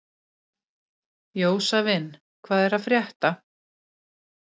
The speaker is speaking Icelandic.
Jósavin, hvað er að frétta?